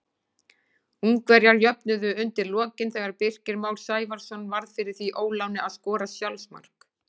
Ungverjar jöfnuðu undir lokin þegar Birkir Már Sævarsson varð fyrir því óláni að skora sjálfsmark.